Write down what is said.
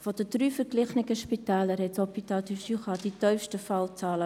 Von den drei verglichenen Spitälern hat das HJB mit 0,77 die tiefsten Fallzahlen.